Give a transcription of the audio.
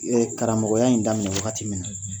karamɔgɔya in daminɛ wagati min na